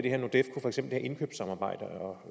herre